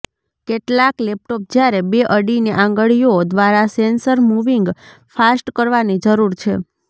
કેટલાંક લેપટોપ જ્યારે બે અડીને આંગળીઓ દ્વારા સેન્સર મુવીંગ ફાસ્ટ કરવાની જરૂર છે